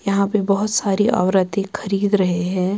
-یحیٰ پی بہت سارے اورتی خرید رہے ہیں